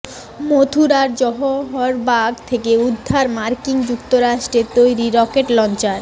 মথুরার জওহর বাগ থেকে উদ্ধার মার্কিন যুক্তরাষ্ট্রে তৈরি রকেট লঞ্চার